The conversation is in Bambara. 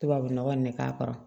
Tubabu nɔgɔ nin de k'a kɔrɔ